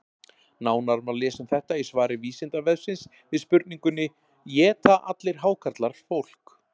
Nánar má lesa um þetta í svari Vísindavefsins við spurningunni: Éta allir hákarlar fólk?